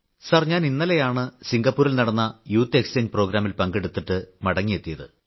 sir ഞാൻ ഇന്നലെയാണ് സിംഗപ്പൂരിൽ നടന്ന യൂത്ത് എക്സ്ചേഞ്ച് പ്രോഗ്രാമിൽ പങ്കെടുത്തിട്ട് മടങ്ങിയെത്തിയത്